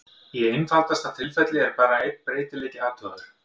Í einfaldasta tilfelli er bara einn breytileiki athugaður.